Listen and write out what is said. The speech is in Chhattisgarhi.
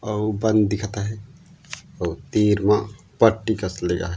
अऊ बंद दिखत है अऊ तीर म पट्टी कस लिया हैं।